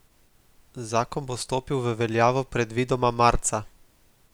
Zakon bo stopil v veljavo predvidoma marca.